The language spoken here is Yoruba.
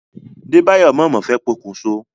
Débáyọ̀ mà mà fẹ́ pokùn so.